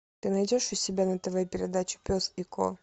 ты найдешь у себя на тв передачу пес и ко